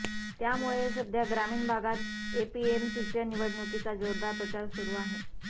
त्यामुळे सध्या ग्रामीण भागात एपीएमसीच्या निवडणुकीचा जोरदार प्रचार सुरू आहे